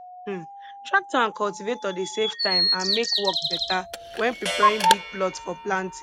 um tractor and cultivator dey save time and make work better when preparing big plots for planting